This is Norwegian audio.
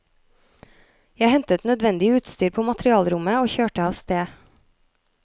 Jeg hentet nødvendig utstyr på materialrommet og kjørte av sted.